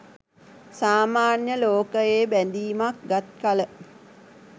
සාමාන්‍ය ලෝකයේ බැඳීමක් ගත් කළ